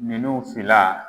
Ninnu fila